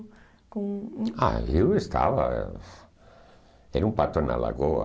com... Ah, eu estava... era um pato na lagoa.